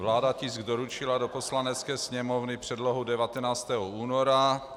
Vláda tisk doručila do Poslanecké sněmovny, předlohu, 19. února.